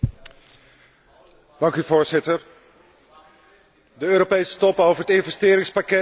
De Europese top over het investeringspakket zou twee dagen duren, maar duurde ongeveer twee uur.